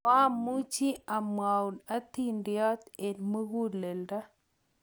koamuchi amwou atindiot eng' muguleldo